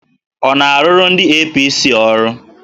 Ọ na-arụrụ ndị APC ọrụ?